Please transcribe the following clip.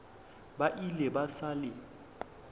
ba ile ba sa le